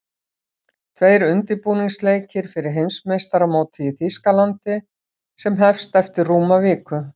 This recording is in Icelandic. Tveir undirbúningsleikir fyrir Heimsmeistaramótið í Þýskalandi sem hest eftir rúma viku.